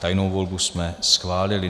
Tajnou volbu jsme schválili.